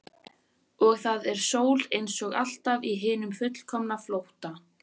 Og það er sól einsog alltaf í hinum fullkomna flótta.